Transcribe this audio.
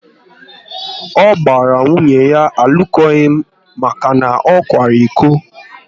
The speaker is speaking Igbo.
Ọ gbara nwunye ya alụkwaghịm maka na ọ kwara iko